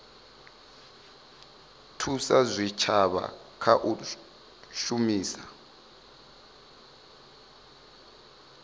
thusa zwitshavha kha u shumisa